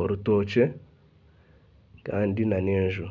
orutookye kandi nana enju